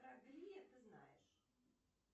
ты знаешь